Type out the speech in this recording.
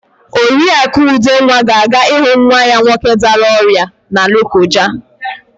Oriakụ Udenwa ga-aga ịhụ nwa ya nwoke dara ọrịa na Lokoja.